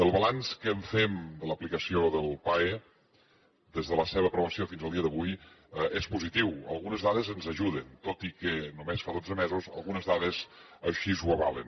el balanç que en fem de l’aplicació del pae des de la seva aprovació fins al dia d’avui és positiu algunes dades ens ajuden tot i que només fa dotze mesos algunes dades així ho avalen